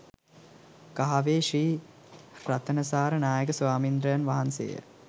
කහවේ ශ්‍රී රතනසාර නායක ස්වාමීන්ද්‍රයන් වහන්සේය.